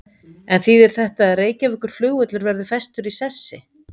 En þýðir þetta að Reykjavíkurflugvöllur verður festur í sessi?